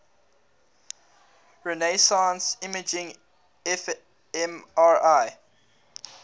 resonance imaging fmri